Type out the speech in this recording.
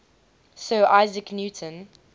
sir isaac newton